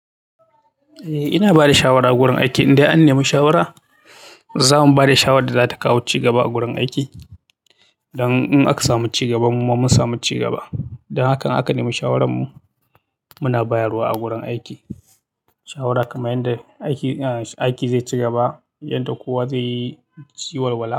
Eh, ina bada shawara a gurin aiki idai an nemi shawara. Zamu bada shawarar da zata kawo ci gaba a gurin aiki. Don in aka samu ci gaba mu ma mun samu ci gaba. Dan haka an aka nemi shawaran mu. Muna bayarwa a wurin aiki, shawara kamar yanda aiki zai ci gabab yanda kowa zai yi walwala.